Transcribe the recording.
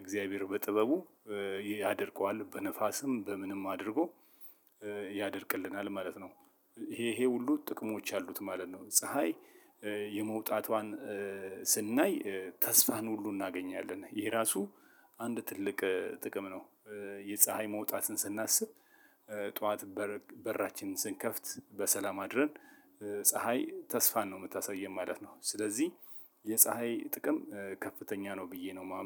እግዚአብሔር በጥበቡ ያደርቀዋል በንፋስም በምንም አድርጎ ያደርቅልናል ማለት ነው። ይሄ ይሄ ሁሉ ጥቅሞች አሉት ማለት ነው። ፀሀይ የመውጣቷን ስናይ ተስፋን ሁሉ እናገኛለን ይሄ ራሱ አንድ ትልቅ ጥቅም ነው። የፀሀይ መውጣትን ስናስብ ጠዋት በራችንን ስንከፍት በሰላም አድረን ፀሀይ ተስፋን ነው የምታሳየው ማለት ነው። ስለዚህ የፀሀይ ጥቅም ከፍተኛ ነው ብዬ ነው